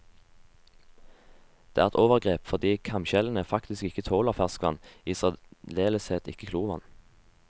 Det er et overgrep, fordi kamskjellene faktisk ikke tåler ferskvann, i særdeleshet ikke klorvann.